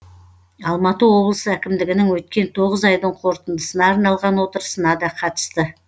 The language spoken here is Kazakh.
алматы облысы әкімдігінің өткен тоғыз айдың қорытындысына арналған отырысына да қатысты